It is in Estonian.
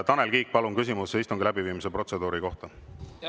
Tanel Kiik, palun küsimus istungi läbiviimise protseduuri kohta!